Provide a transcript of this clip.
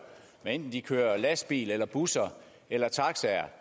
hvad enten de kører lastbiler busser eller taxaer